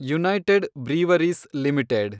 United Breweries limited